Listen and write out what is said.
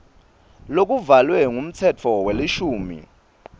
lokuvalwe ngumtsetfo welishumi